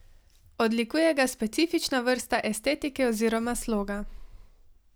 Odlikuje ga specifična vrsta estetike oziroma sloga.